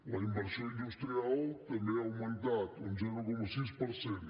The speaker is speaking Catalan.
la inversió industrial també ha augmentat un zero coma sis per cent